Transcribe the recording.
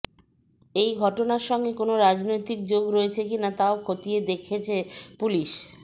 এই ঘটনার সঙ্গে কোনও রাজনৈতিক যোগ রয়েছে কিনা তাও খতিয়ে দেখেছে পুলিশ